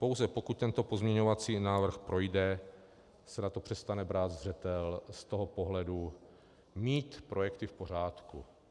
Pouze pokud tento pozměňovací návrh projde, se na to přestane brát zřetel z toho pohledu mít projekty v pořádku.